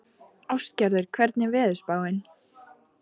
Ástgerður, hvernig er veðurspáin?